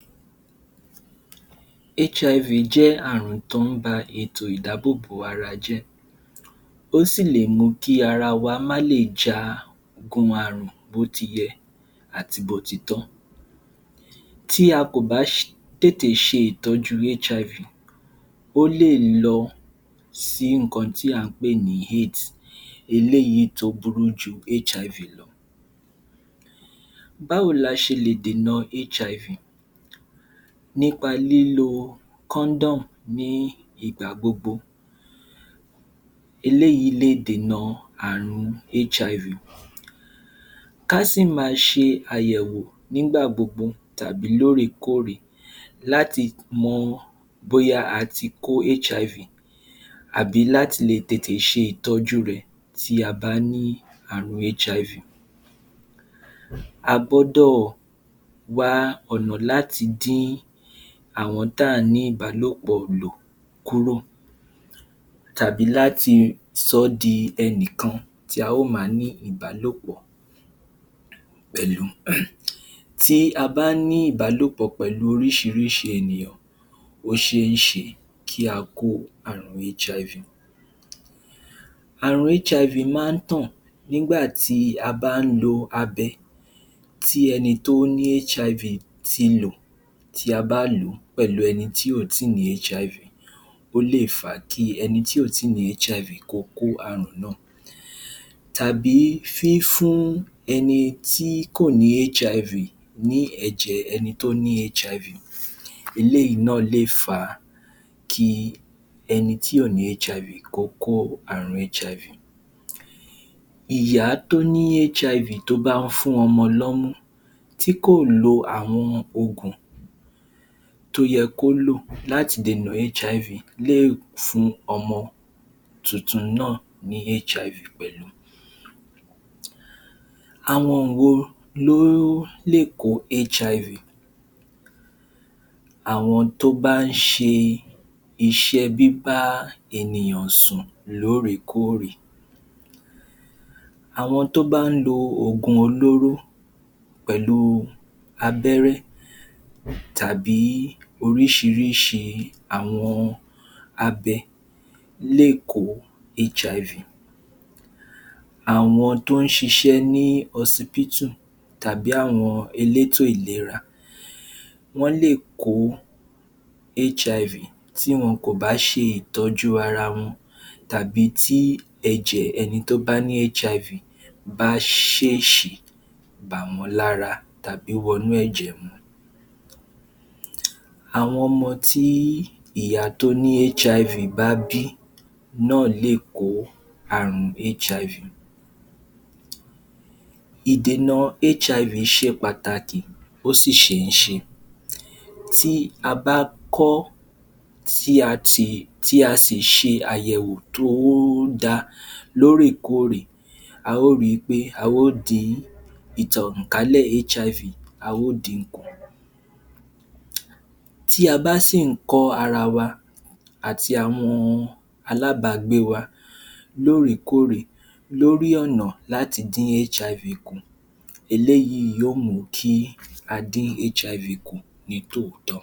Kí ni àyẹ̀wò ìlera pátápátá? Àyẹ̀wò ìlera pátápátá jẹ́ ìwádìí tí a máa ń ṣe lórí gbogbo ara ẹ̀yà-ara ènìyàn. A máa ń ṣe àyẹ̀wò yìí láti fi mọ̀ ibi tí àìsàn bá lúgọ sí nínú ara ènìyàn àti láti tètè ṣe ìtọ́jú àrùn náà kó tó di pé wọ́n lágbára. A ó ṣe ọ̀pọ̀lọpọ̀ ìwádìí láti fi mọ gbogbo ibi tí àrùn lè lúgọ sí nínú àgọ̀-ara. Bí i àyẹ̀wò ní ojú-ọkàn tàbí kídìnì tàbí ẹ̀dọ̀. Gbogbo àyẹ̀wò yìí pátápátá ni àwọn dọ́kítà yóò ṣe láti fi mọ bóyá àìsàn lúgọ sínú àgọ-ara ènìyàn. Kílódé tí eléyìí ṣe fi ṣe pàtàkì? Àyẹ̀wò pátápátá jẹ́ pàtàkì nítorí pé ó ma jẹ́kámọ̀ tí àìsàn bá lúgọ sí inú ara wa. Ká a sì lè tètè ṣe ìtọ́jú rẹ̀ kó tó di pé ó lágbára púpọ̀ púpọ̀. Àwọn àìsàn bí i ìtọ̀-ṣúgà, ọkàn ríru, tàbí kánsà, wọn kò ń fi àpẹẹrẹ hàn nígbàtí wọ́n bá tètè bẹ̀rẹ̀ tàbí tí wọ́n bá ṣẹ̀ṣẹ̀ ń bẹ̀rẹ̀ nínú ara ènìyàn. Àmọ́ tí a bá ń tètè ṣe àyẹ̀wò lóòrékórè, irú àyẹ̀wò yìí yóò jẹ́ kámọ̀ tí àwọn àpẹẹrẹ yìí bá wà nínú àgọ ara wa àti láti tètè dènà rẹ̀ kó tó di pé wọ́n lágbára tàbí wọ́n kọjá agbára wa. Kí ni wọ́n máa ń dánwò tàbí kí ni wọ́n máa ń fi àyẹ̀wò yìí ṣe nínú àgọ ara wa. Láti fi mọ bí ìtọ-ṣúgà ṣele tó, a ó nílò ẹ̀jẹ̀. Fún ìdánwò àyẹ̀wò ọkàn, a ó nílò ilé táwọn olóyìnbó mọ̀ sí láti fi ṣe àyẹ̀wò tó péye. Fún àyẹ̀wò ẹ̀dọ̀ àti kídìnrín, fún àyẹ̀wò ẹ̀jẹ̀ tó ń lọ sókè, tàbí eléyìí tí a mọ̀ sí um ẹ̀jẹ̀ gíga, fún àyẹ̀wò ojú tàbí eyín, a ó nílò gbogbo àwọn ìwádìí yìí láti lè fi mọ ipò tí ara wá wà. Lẹ́yìn ìgbà tí wọ́n bá ṣe àwọn àyẹ̀wò yìí, dọ́kítà yóò fi wá lọ́kàn balẹ̀ láti mọ ọ̀nà tó yẹ ká gbà láti lè jẹ́ kí ara wá wà ní ìlera pípé.